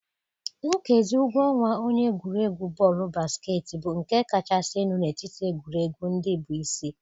Nkezi ụgwọ ọnwa onye egwuregwu bọọlụ basketịị bụ nke kachasị elu n'etiti egwuregwu ndị bụ isi.